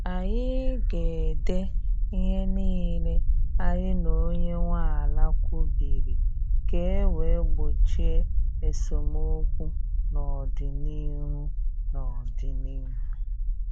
Anyị ga ede ihe niile anyị na onye nwe ala kwubiri ka e wee gbochie esemokwu n' ọdịnihu n' ọdịnihu